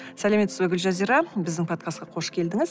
сәлеметсіз бе гүлжазира біздің подкастқа қош келдіңіз